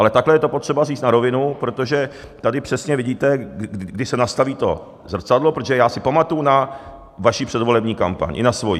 Ale takhle je to potřeba říct, na rovinu, protože tady přesně vidíte, kdy se nastaví to zrcadlo, protože já si pamatuji na vaši předvolební kampaň, i na svojí.